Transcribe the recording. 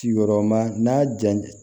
Sigiyɔrɔma n'a ja